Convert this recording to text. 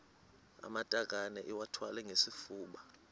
amatakane iwathwale ngesifuba